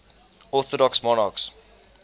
orthodox monarchs